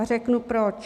A řeknu proč.